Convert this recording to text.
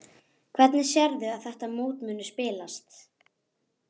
Hvernig sérðu að þetta mót muni spilast?